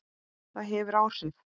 Það hefur áhrif.